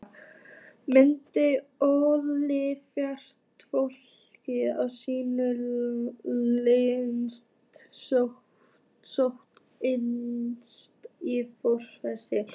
Myndin olli fjaðrafoki á sýningu Listaskólans í Flórens.